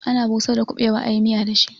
Ana busar da kubewa ayi miya da shi.